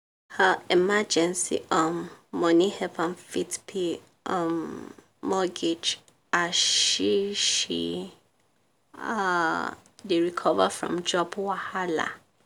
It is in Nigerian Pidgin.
her emergency um money help am fit pay um mortgage as she she um dey recover from job wahala.